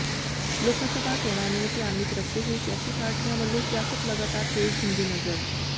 ਲੋਕਾਸਭਾ ਚੋਣਾਂ ਨੂੰ ਧਿਆਨ ਵਿਚ ਰੱਖਦੇ ਹੋਏ ਸਿਆਸੀ ਪਾਰਟੀਆਂ ਵਲੋਂ ਸਿਆਸਤ ਲਗਾਤਾਰ ਤੇਜ਼ ਹੁੰਦੀ ਨਜ਼ਰ